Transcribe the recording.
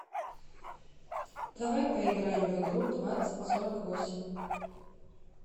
давай поиграем в игру двадцать сорок восемь